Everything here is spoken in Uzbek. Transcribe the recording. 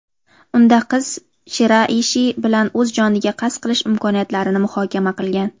Unda qiz Shiraishi bilan o‘z joniga qasd qilish imkoniyatlarini muhokama qilgan.